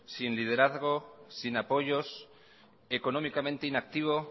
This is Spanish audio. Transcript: sin liderazgo sin apoyos económicamente inactivo